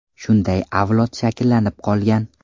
Shunday avlod shakllanib qolgan.